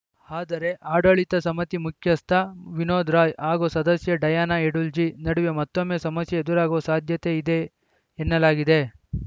ಆದರೆ ಆಡಳಿತ ಸಮಿತಿ ಮುಖ್ಯಸ್ಥ ವಿನೋದ್‌ ರಾಯ್‌ ಹಾಗೂ ಸದಸ್ಯೆ ಡಯಾನ ಎಡುಲ್ಜಿ ನಡುವೆ ಮತ್ತೊಮ್ಮೆ ಸಮಸ್ಯೆ ಎದುರಾಗುವ ಸಾಧ್ಯತೆ ಇದೆ ಎನ್ನಲಾಗಿದೆ